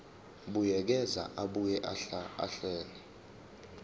buyekeza abuye ahlele